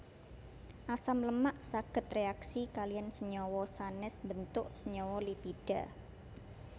Asam lemak saged réaksi kaliyan senyawa sanès mbentuk senyawa lipida